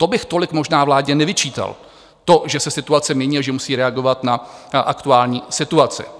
To bych tolik možná vládě nevyčítal, to, že se situace mění a že musí reagovat na aktuální situaci.